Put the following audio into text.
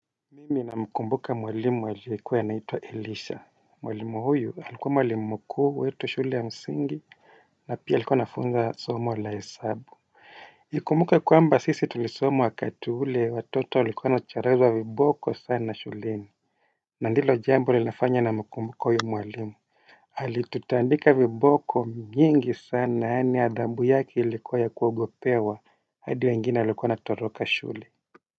Mimi namkumbuka mwalimu alikuwa anaitwa elisha. Mwalimu huyu alikuwa mwalimu mkuu wetu shule ya msingi na pia alikuwa anafunza somo la hesabu nakumbuka kwamba sisi tulisoma wakati ule watoto walikuwa wanacharazwa viboko sana shuleni. Na ndilo jambo linafanya namkumbuka huyo mwalimu. Alitutaandika viboko nyingi sana yani adhabu yake ilikuwa ya kuogopewa hadi wengine walikuwa wanatoroka shule.